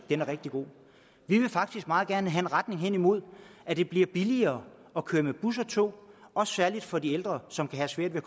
vi vil faktisk meget gerne have en retning hen imod at det bliver billigere at køre med bus og tog særlig for de ældre som kan have svært ved